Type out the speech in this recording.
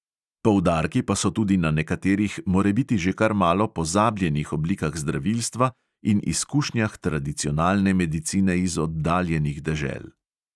Poudarki pa so tudi na nekaterih morebiti že kar malo pozabljenih oblikah zdravilstva in izkušnjah tradicionalne medicine iz oddaljenih dežel.